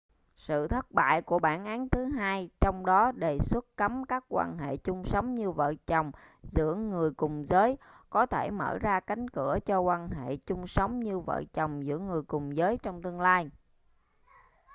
sự thất bại của bản án thứ hai trong đó đề xuất cấm các quan hệ chung sống như vợ chồng giữa người cùng giới có thể mở ra cánh cửa cho quan hệ chung sống như vợ chồng giữa người cùng giới trong tương lai